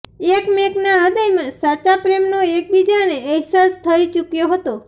એકમેકના હૃદયમાં સાચા પ્રેમનો એકબીજાને અહેસાસ થઈ ચૂક્યો હતો